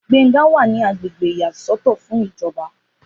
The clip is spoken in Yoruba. Gbénga wà ní agbègbè ìyá sọ́tọ̀ fún ìjọba